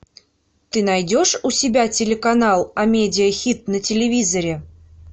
ты найдешь у себя телеканал амедиа хит на телевизоре